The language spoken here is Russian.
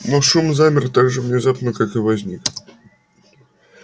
но шум замер так же внезапно как и возник